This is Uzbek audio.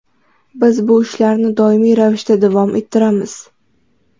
Biz bu ishlarni doimiy ravishda davom ettiramiz.